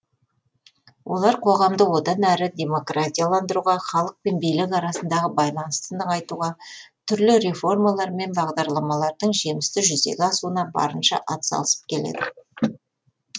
олар қоғамды одан әрі демократияландыруға халық пен билік арасындағы байланысты нығайтуға түрлі реформалар мен бағдарламалардың жемісті жүзеге асуына барынша атсалысып келеді